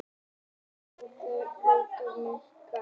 Kynbundinn launamunur minnkar